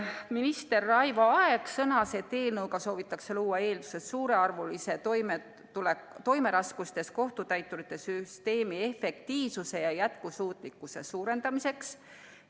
Minister Raivo Aeg sõnas, et eelnõuga soovitakse luua eeldused suurearvulise toimeraskustes kohtutäiturite süsteemi efektiivsuse ja jätkusuutlikkuse suurendamiseks.